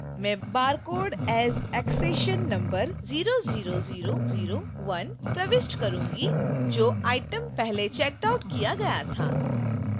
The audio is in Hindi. मैं barcode as accession number 00001 प्रविष्ट करूंगी जो item पहले checked out किया गया था